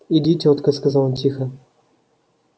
иди тётка сказал он тихо